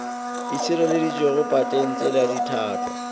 e šireleditšwego patents le ditlhangwa